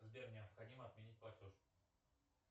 сбер необходимо отменить платеж